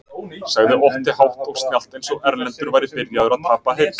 sagði Otti hátt og snjallt eins og Erlendur væri byrjaður að tapa heyrn.